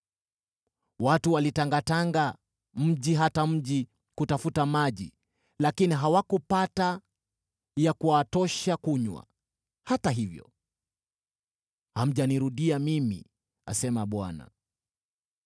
Watu walitangatanga mji hata mji kutafuta maji, lakini hawakupata ya kuwatosha kunywa, hata hivyo hamjanirudia mimi,” asema Bwana .